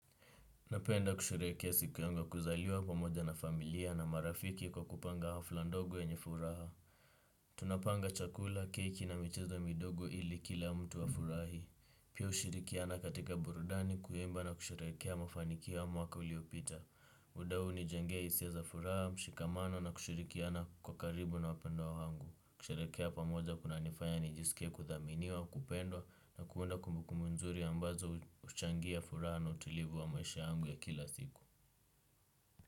Napenda kusherehekea siku yangu ya kuzaliwa pamoja na familia na marafiki kwa kupanga hafla ndogo yenye furaha. Tunapanga chakula, keki na michezo midogo ili kila mtu afurahi. Pia hushirikiana katika burudani kuimba na kusherehekea mafanikio ya mwaka uliopita. Muda huu hunijengea hisia za furaha, mshikamano na kushirikiana kwa karibu na wapendwa wangu. Kusherehekea pamoja kunanifanya nijisikie kuthaminiwa kupendwa na kuunda kumbukumbu mzuri ambazo huchangia furaha na utilivu wa maisha yangu ya kila siku.